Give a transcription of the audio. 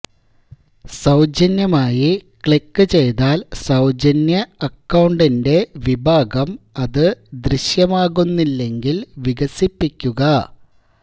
സൌജന്യമായി ക്ലിക്ക് ചെയ്താൽ സൌജന്യ അക്കൌണ്ടിന്റെ വിഭാഗം അത് ദൃശ്യമാകുന്നില്ലെങ്കിൽ വികസിപ്പിക്കുക